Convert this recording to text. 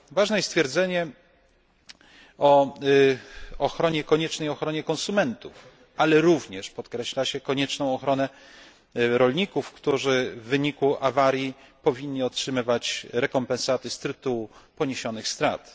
Ważne jest stwierdzenie o koniecznej ochronie konsumentów, ale również podkreśla się konieczną ochronę rolników, którzy w wyniku awarii powinni otrzymywać rekompensaty z tytułu poniesionych strat.